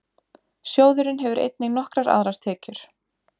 Sjóðurinn hefur einnig nokkrar aðrar tekjur.